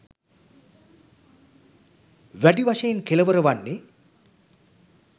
වැඩි වශයෙන් කෙළවර වන්නේ